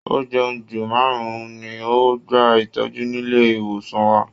Ọ̀jẹun-jù márùn-ún ni ó gba ìtọ́jú nílé ìwòsàn wa